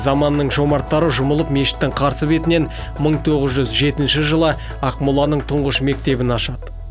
заманның жомарттары жұмылып мешіттің қарсы бетінен мың тоғыз жүз жетінші жылы ақмоланың тұңғыш мектебін ашады